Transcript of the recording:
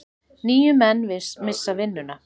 Níu menn missa vinnuna.